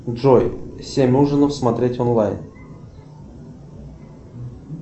джой семь ужинов смотреть онлайн